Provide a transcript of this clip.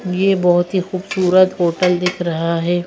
ये बहुत ही खूबसूरत होटल दिख रहा है।